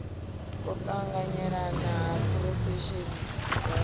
u tanganelana ha phurofesheni dzashu